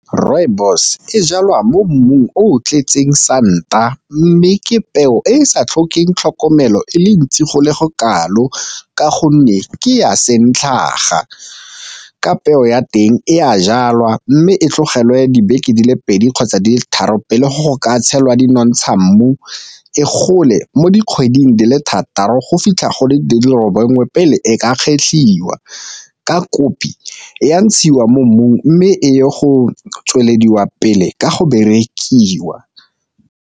Rooibos e jalwa mo mmung o tletseng santa mme ke peo e e sa tlhokeng tlhokomelo e le ntsi go le go kalo ka gonne ke ya santlhaga, ka peo ya teng e a jalwa mme e tlogelwe dibeke di le pedi kgotsa tharo pele go ka tshelwa di nontsha mmu. E gole mo dikgweding di le thataro go fitlha gole dilo bongwe pele e ka kgetlhiwa, ka kopi e a ntshiwa mo mmung mme e ye go tswelediwa pele ka go berekiwa.